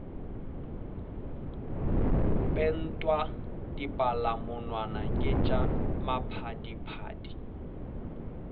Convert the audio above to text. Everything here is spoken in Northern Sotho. pentwa dipalamonwana ke tša maphadiphadi